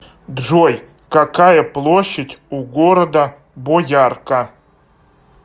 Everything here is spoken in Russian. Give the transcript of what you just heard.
джой какая площадь у города боярка